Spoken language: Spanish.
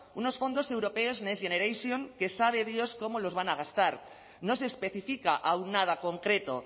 unos fondos europeos next generation que sabe dios cómo los van a gastar no se especifica aun nada concreto